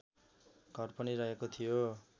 घर पनि रहेको थियो